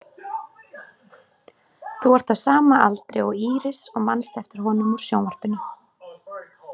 Þú ert á sama aldri og Íris og manst eftir honum úr sjónvarpinu.